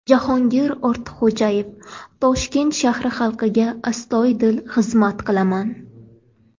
Jahongir Ortiqxo‘jayev: Toshkent shahri xalqiga astoydil xizmat qilaman.